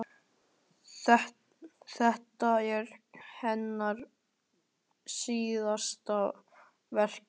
Þetta er hennar síðasta verk í